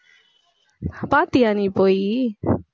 பாத்தியா நீ போயி